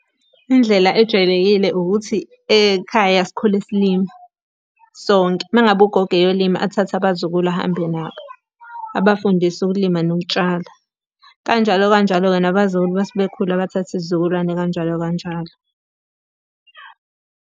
Indlela ejwayelekile ukuthi ekhaya sikhule silima sonke. Uma ngabe ugogo eyolima athathe abazukulu ahambe nabo, abafundise ukulima nokutshala. Kanjalo kanjalo-ke nabazukulu uma sebekhula bathathe isizukulwane kanjalo kanjalo.